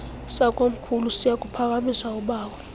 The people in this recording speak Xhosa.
sakomkhulu siyakuphakamisa ubawo